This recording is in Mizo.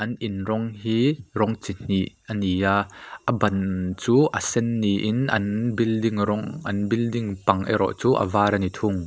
in rawng hi rawng chihnih ani a a ban chu a sen niin an building rawng an building bang erawh chu a var ani thung.